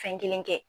Fɛn kelen kɛ